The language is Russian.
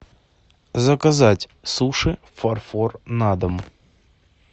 заказать суши фарфор на дом